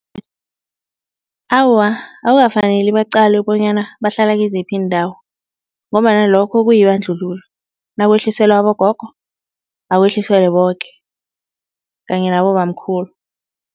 Awa, akukafaneli bacale bonyana bahlala kiziphi iindawo ngombana lokho kuyibandlululo nakwehliselwa abogogo akwehliselwe boke kanye nabobamkhulu.